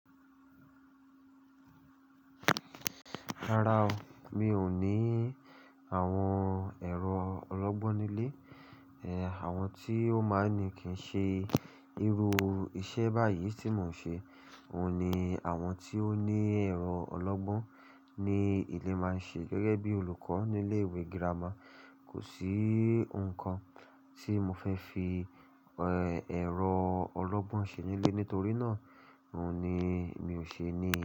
Rárá o, mi ò ní àwọn ẹ̀rọ ọlọ́gbọ́n nílé, ẹ, àwọn tí ó máa ń ní kì í ṣe irú iṣẹ́ báyìí tí mò ń ṣe. Òun ni àwọn tí ó ní ẹ̀rọ ọlọ́gbọ́n ni ilé máa ń ṣe gẹ́gẹ́ bí olùkọ́ nílé ìwé girama. Kò sí nǹkan tí mo fẹ́ fi, ẹ́, ẹ̀rọ ọlọ́gbọ́n ṣe nílé nítorí náà ohun ní mi ò ṣe ní.